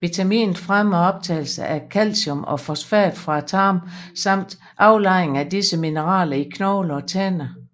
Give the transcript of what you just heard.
Vitaminet fremmer optagelsen af calcium og fosfat fra tarmen samt aflejring af disse mineraler i knogler og tænder